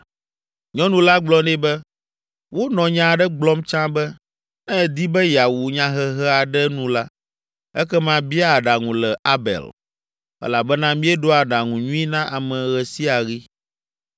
Nyɔnu la gblɔ nɛ be, “Wonɔ nya aɖe gblɔm tsã be, ‘Ne èdi be yeawu nyahehe aɖe nu la, ekema bia aɖaŋu le Abel,’ elabena míeɖoa aɖaŋu nyui na ame ɣe sia ɣi.